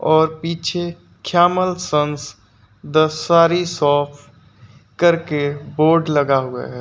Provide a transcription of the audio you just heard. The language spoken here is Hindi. और पीछे ख़्यामल संस द सारी शॉप करके बोर्ड लगा हुआ है।